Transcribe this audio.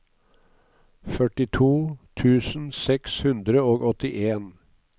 førtito tusen seks hundre og åttien